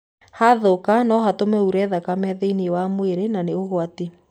Hatuthũka, no gũtũme ure thakame thĩ-inĩ wa mwĩrĩ na nĩ ũgwati.